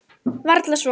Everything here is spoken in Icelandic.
Varla svo.